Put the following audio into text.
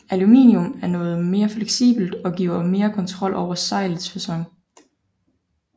Aluminium er noget mere fleksibelt og giver mere kontrol over sejlets facon